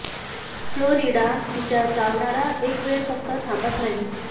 Florida तिच्या चावणारा एक वेळ फक्त थांबत नाही